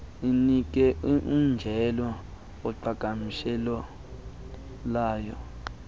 inike umjelo woqhagamshelwano